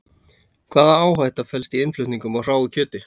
Hvaða áhætta felst í innflutningi á hráu kjöti?